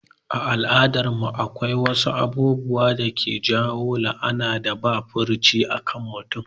A al'adar mu akwai wasu abubuwa dake kawo la'anan da ba furuci akan mutum